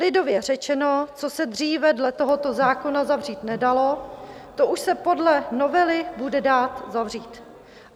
Lidově řečeno, co se dříve dle tohoto zákona zavřít nedalo, to už se podle novely bude dát zavřít.